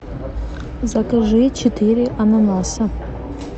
закажи четыре ананаса